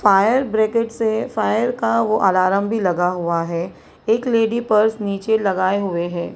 Fire bracket से fire का वो अलार्म भी लगा हुआ है एक लेडी पर्स नीचे लगाए हुए हैं।